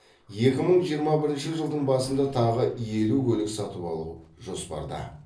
екі мың жиырма бірінші жылдың басында тағы елу көлік сатып алу жоспарда